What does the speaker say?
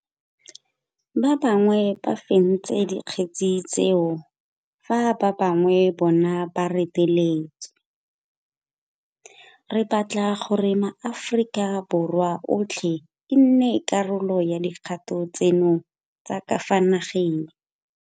Ba bangwe ba fentse dikgetse tseo fa ba bangwe bona ba reteletswe. Re batla gore maAforika Borwa otlhe e nne karolo ya dikgato tseno tsa ka fa nageng.